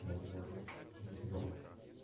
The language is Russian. возможно не знаю